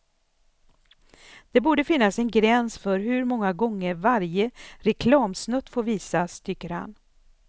Det borde finnas en gräns för hur många gånger varje reklamsnutt får visas, tycker han.